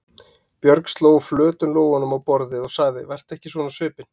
Björg sló flötum lófunum í borðið og sagði: Vertu ekki svona á svipinn.